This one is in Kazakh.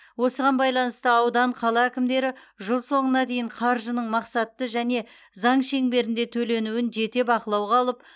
осыған байланысты аудан қала әкімдері жыл соңына дейін қаржының мақсатты және заң шеңберінде төленуін жете бақылауға алып